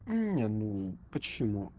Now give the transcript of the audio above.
нет ну почему